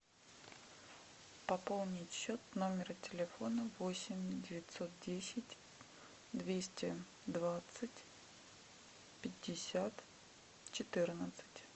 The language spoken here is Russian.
пополнить счет номера телефона восемь девятьсот десять двести двадцать пятьдесят четырнадцать